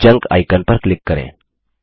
junk icon पर click करें